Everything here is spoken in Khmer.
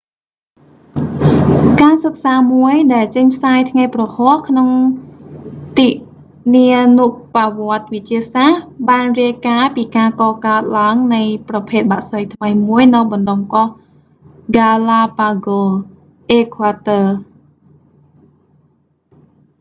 ការសិក្សាមួយ ដែលចេញផ្សាយ​ថ្ងៃ​ព្រហស្បតិ៍ក្នុង​ទិនានុប្បវត្តិ​វិទ្យាសាស្ត្រ បាន​រាយការណ៍​ពី​ការកកើត​ឡើង​នៃ​ប្រភេទ​បក្សី​ថ្មី​មួយ​នៅ​បណ្ដុំ​កោះ​ហ្គាឡាប៉ាហ្កូស galápagos អេក្វាទ័រ។